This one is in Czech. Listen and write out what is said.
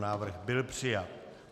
Návrh byl přijat.